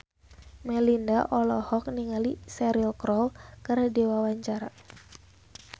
Melinda olohok ningali Cheryl Crow keur diwawancara